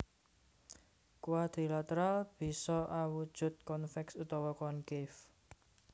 Quadrilateral bisa awujud convex utawa concave